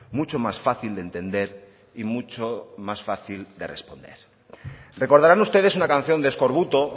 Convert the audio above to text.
mucho más fácil de entender y mucho más fácil de responder recordarán ustedes una canción de eskorbuto